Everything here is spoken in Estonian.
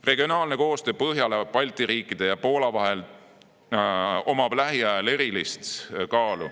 Regionaalsel koostööl Põhjala, Balti riikide ja Poola vahel on lähiaegadel eriline kaal.